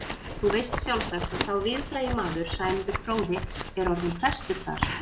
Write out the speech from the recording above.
Þú veist sjálfsagt að sá víðfrægi maður, Sæmundur fróði, er orðinn prestur þar.